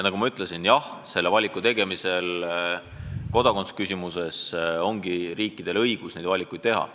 Nagu ma ütlesin, kodakondsusküsimuse puhul riikidel ongi õigus sääraseid valikuid teha.